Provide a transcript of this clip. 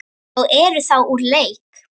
og eru þá úr leik.